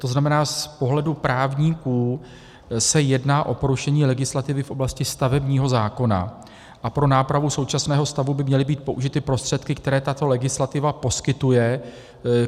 To znamená, z pohledu právníků se jedná o porušení legislativy v oblasti stavebního zákona a pro nápravu současného stavu by měly být použity prostředky, které tato legislativa poskytuje.